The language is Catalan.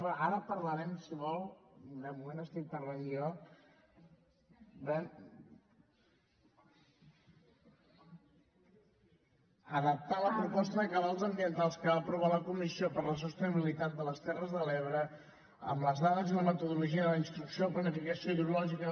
ara en parlarem si vol de moment estic parlant jo adaptar la proposta de cabals ambientals que va aprovar la comissió per la sostenibilitat de les terres de l’ebre amb les dades i la metodologia de la instrucció planificació hidrològica